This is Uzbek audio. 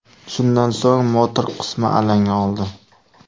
Shundan so‘ng motor qismi alanga oldi.